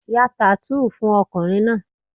Ya tattoo fún ọkùnrin náà!